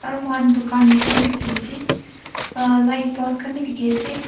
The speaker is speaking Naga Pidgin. dukan jisna bhi dekhi ase a light post khan bhi dekhi ase.